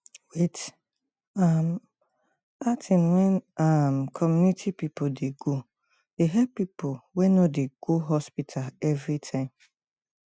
wait um outing wey um community people dey go they help people wey no dey go hospital everytime